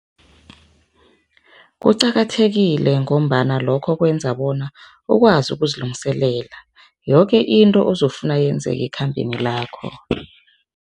Kuqakathekile ngombana lokho kwenza bona ukwazi ukuzilungiselela, yoke into ozokufuna yenzeke ekhambeni lakho.